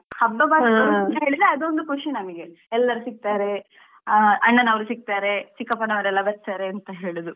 ಹಬ್ಬ ಬಂತೇಲಿದ್ರೆ ಅದೊಂದು ಖುಷಿ ನಮಿಗೆ ಎಲ್ಲರೂ ಸಿಕ್ತಾರೆ ಆ ಅಣ್ಣನವರು ಸಿಕ್ತಾರೆ ಚಿಕ್ಕಪ್ಪನವರೆಲ್ಲಾ ಬರ್ತಾರೆ ಅಂತ ಹೇಳುದು.